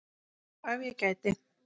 Og ef ég gæti?